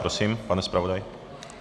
Prosím, pane zpravodaji.